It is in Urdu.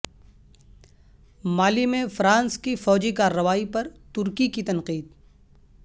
مالی میں فرانس کی فوجی کارروائی پر ترکی کی تنقید